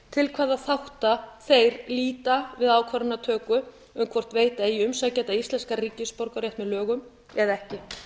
til hvaða þátta þeir líta við ákvarðanatöku um hvort veita eigi umsækjanda íslenskan ríkisborgararétt með lögum eða ekki